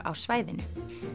á svæðinu